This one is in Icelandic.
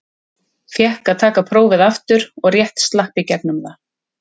Fékk að taka prófið aftur og rétt slapp í gegnum það.